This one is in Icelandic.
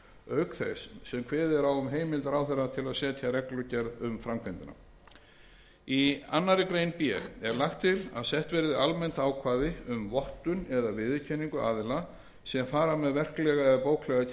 auk þess sem kveðið er á um heimild ráðherra til að setja reglugerð um framkvæmdina í annarri grein b er lagt til að sett verði almennt ákvæði um vottun eða viðurkenningu aðila sem fara með verklega eða bóklega kennslu